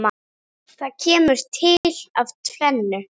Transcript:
Það kemur til af tvennu.